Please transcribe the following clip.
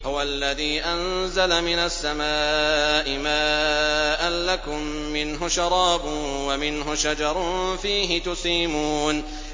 هُوَ الَّذِي أَنزَلَ مِنَ السَّمَاءِ مَاءً ۖ لَّكُم مِّنْهُ شَرَابٌ وَمِنْهُ شَجَرٌ فِيهِ تُسِيمُونَ